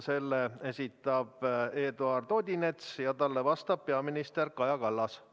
Selle esitab Eduard Odinets ja talle vastab peaminister Kaja Kallas.